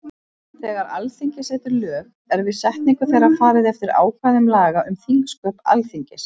Þegar Alþingi setur lög er við setningu þeirra farið eftir ákvæðum laga um þingsköp Alþingis.